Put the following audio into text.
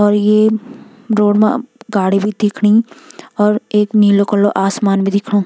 और ये रोड मा गाड़ी भी दिखणी और एक नीलू कलर आसमान भी दिखणु।